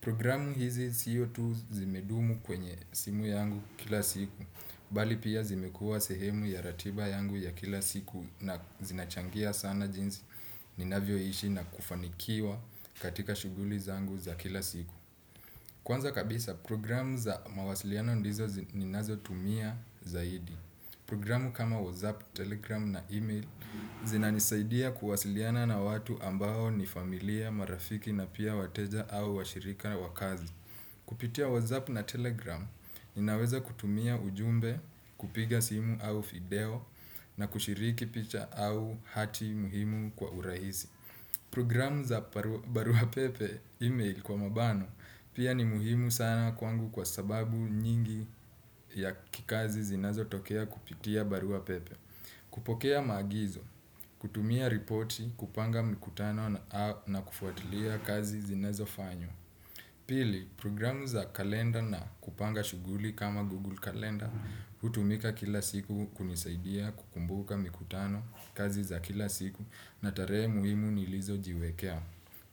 Programu hizi sio tu zimedumu kwenye simu yangu kila siku, bali pia zimekuwa sehemu ya ratiba yangu ya kila siku na zinachangia sana jinsi ninavyoishi na kufanikiwa katika shughuli zangu za kila siku. Kwanza kabisa programu za mawasiliano ndizo ninazotumia zaidi. Programu kama WhatsApp, Telegram na email zinanisaidia kuwasiliana na watu ambao ni familia, marafiki na pia wateja au washirika na wa kazi. Kupitia WhatsApp na Telegram inaweza kutumia ujumbe, kupiga simu au video na kushiriki picha au hati muhimu kwa urahisi. Program za barua pepe, email kwa mabano pia ni muhimu sana kwangu kwa sababu nyingi ya kikazi zinazotokea kupitia barua pepe. Kupokea maagizo, kutumia ripoti, kupanga mkutano na kufuatilia kazi zinazofanywa. Pili, program za kalenda na kupanga shughuli kama google kalenda hutumika kila siku kunisaidia kukumbuka mikutano kazi za kila siku na tarehe muhimu nilizojiwekea.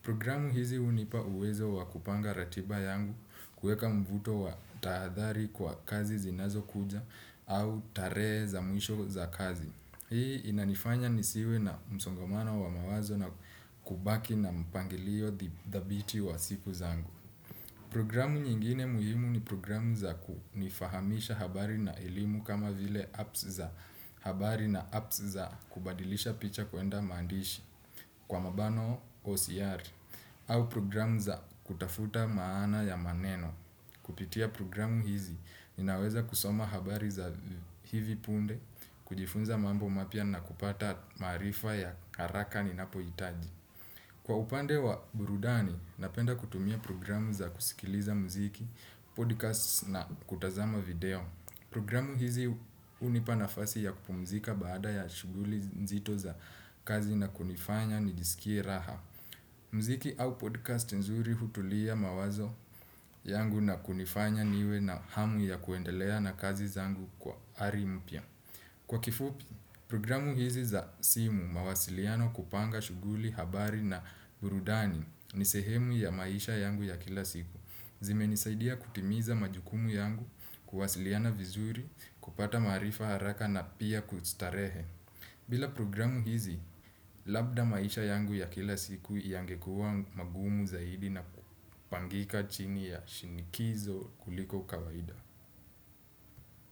Programu hizi hunipa uwezo wa kupanga ratiba yangu kuweka mvuto wa tahadhari kwa kazi zinazokuja au tarehe za mwisho za kazi. Hii inanifanya nisiwe na msongamana wa mawazo na kubaki na mpangilio thabiti wa siku zangu. Programu nyingine muhimu ni programu za kunifahamisha habari na elimu kama vile apps za habari na apps za kubadilisha picha kwenda maandishi kwa mabano OCR au programu za kutafuta maana ya maneno. Kupitia programu hizi, ninaweza kusoma habari za hivi punde, kujifunza mambo mapya na kupata maarifa ya haraka ninapohitaji. Kwa upande wa burudani, napenda kutumia programu za kusikiliza mziki, podcast na kutazama video. Programu hizi hunipa nafasi ya kupumzika baada ya shughuli nzito za kazi na kunifanya nijisikie raha. Mziki au podcast nzuri hutulia mawazo yangu na kunifanya niwe na hamu ya kwendelea na kazi zangu kwa ari mpya. Kwa kifupi, programu hizi za simu mawasiliano kupanga shughuli, habari na burudani ni sehemu ya maisha yangu ya kila siku. Zimenisaidia kutimiza majukumu yangu, kuwasiliana vizuri, kupata maarifa haraka na pia kustarehe. Bila programu hizi, labda maisha yangu ya kila siku yangekua magumu zaidi na kupangika chini ya shinikizo kuliko kawaida.